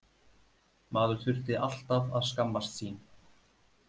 Maður þurfti alltaf að skammast sín.